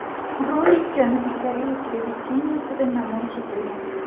Rolik Janubiy Koreya televideniyesida namoyish etilgan.